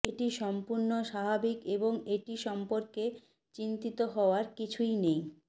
এটি সম্পূর্ণ স্বাভাবিক এবং এটি সম্পর্কে চিন্তিত হওয়ার কিছুই নেই